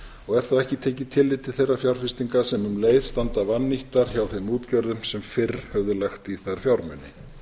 og er þá ekki tekið tillit til þeirra fjárfestinga sem um leið standa vannýttar hjá þeim útgerðum sem fyrr höfðu lagt í þær fjármuni